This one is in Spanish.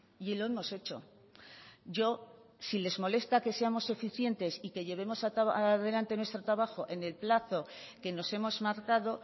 y lo hemos hecho yo si les molesta que seamos eficientes y que llevemos adelante nuestro trabajo en el plazo que nos hemos marcado